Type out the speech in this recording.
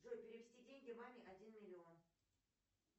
джой перевести деньги маме один миллион